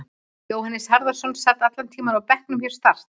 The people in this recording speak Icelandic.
Jóhannes Harðarson sat allan tímann á bekknum hjá Start.